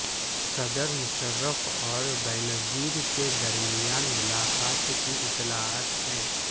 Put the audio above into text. صدر مشرف اور بینظیر کے درمیان ملاقات کی اطلاعات ہیں